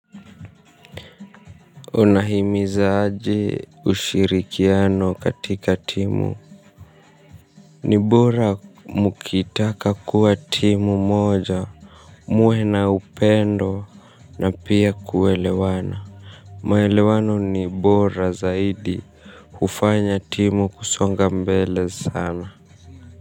Unahimizaje ushirikiano katika timu. Ni bora mkitaka kuwa timu moja, muwe na upendo na pia kuelewana. Maelewano ni bora zaidi hufanya timu kusonga mbele sana.